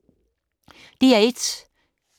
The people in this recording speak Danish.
DR1